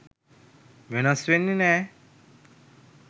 වෙනස් වෙන්නේ නෑ.